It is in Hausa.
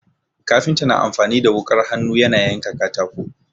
Kafinta na amfani da wuƙar hannu yana yanka katako.